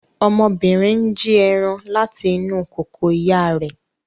Ọmọbìnrin n jí ẹran láti inú kòkò ìyá rẹ̀